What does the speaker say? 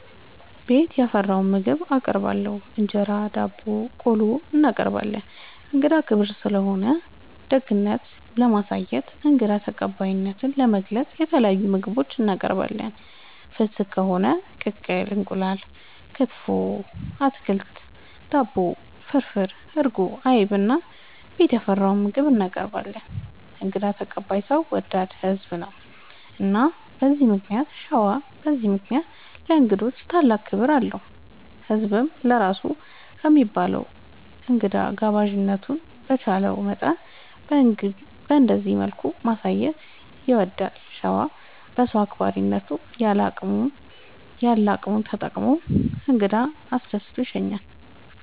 ቤት ያፈራውን ምግብ እናቀርባለን እንጀራ፣ ዳቦናቆሎ እናቀርባለን። እንግዳ ክብር ስለሆነ ደግነት ለማሳየትና እንግዳ ተቀባይነትን ለመግለፅ የተለያዩ ምግቦች እናቀርባለን። ፍስግ ከሆነ ቅቅል እንቁላል፣ ክትፎ፣ አትክልት፣ ዳቦ፣ ፍርፍር፣ እርጎ፣ አይብ እና ቤት ያፈራውን ምግብ እናቀርባለን እንግዳ ተቀባይ ሰው ወዳድ ህዝብ ነው። እና በዚህ ምክንያት ሸዋ በዚህ ምክንያት ለእንግዶች ታላቅ ክብር አለው። ህዝብም ለራሱ ከሚበላ እንግዳ ጋባዥነቱን በቻለው መጠን በእንደዚህ መልኩ ማሳየት ይወዳል። ሸዋ በሰው አክባሪነት ያለ አቅሙን ተጠቅሞ እንግዳ አስደስቶ ይሸኛል።